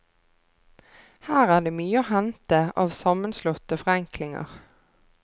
Her er det mye å hente av sammenslåtte forenklinger.